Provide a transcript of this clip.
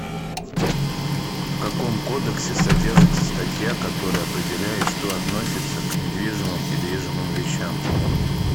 в каком кодексе содержится статья которая определяет что относится к недвижимым и движимым вещам